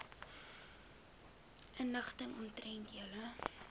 inligting omtrent julle